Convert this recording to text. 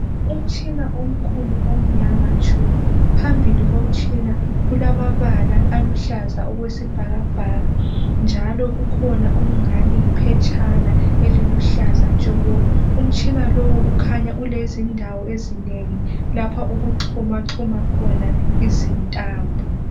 Umtshina omkhulu omnyama tshu! Phambili lomtshina kulamabala alombala wesibhakabhaka, njalo kukhona okuluhlaza okungani liphetshana. Umtshina lowu kukhanya ulezindawo ezinengi lapho okuxhumaxhuma khona izintambo.